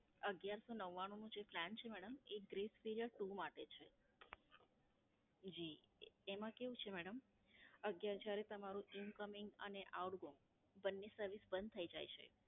અગિયારસો નવ્વાણું નો જે Plan છે મેડમ તે Bress period two માટે છે. જી, એમાં કેવું છે મેડમ અગિયાર જયારે તમારે Incoming અને Outgoing બંને Service બંધ થઈ જાય છે.